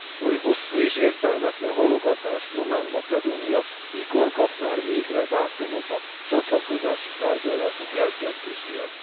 Oly hosszú és értelmetlen halogatás nyomán Macedónia mikor kap már végre dátumot a csatlakozási tárgyalások elkezdéséhez?